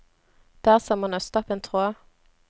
Det er som å nøste opp en tråd.